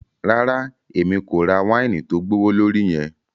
Rara, Èmí ko rà waini tó gbowolori yẹn